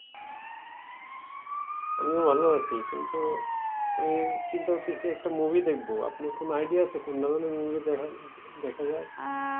আমিও ভালো আছি। কিন্তু আমি চিন্তা করতেছি একটা movie দেখবো। আপনার কোনো idea আছে? কোন ধরণের movie দেখা দেখা যায়?